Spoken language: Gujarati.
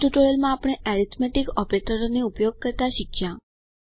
આ ટ્યુટોરીયલ માં આપણે એરિથમેટિક ઓપરેટરોને ઉપયોગ કરતા શીખ્યા